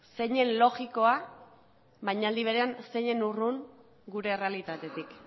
zeinen logikoa baina aldi berean zeinen urrun gure errealitatetik